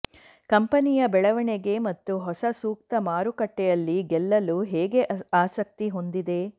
ಕಂಪನಿಯ ಬೆಳವಣಿಗೆ ಮತ್ತು ಹೊಸ ಸೂಕ್ತ ಮಾರುಕಟ್ಟೆಯಲ್ಲಿ ಗೆಲ್ಲಲು ಹೇಗೆ ಆಸಕ್ತಿ ಹೊಂದಿದೆ